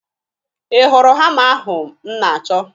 Ị hụrụ hama ahụ m na-achọ?